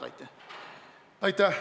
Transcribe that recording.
Aitäh!